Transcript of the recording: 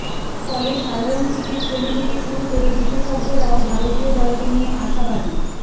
ফলে সাধারণ ক্রিকেটপ্রেমী থেকে শুরু করে বিশেষজ্ঞরাও ভারতীয় দলকে নিয়ে আশাবাদী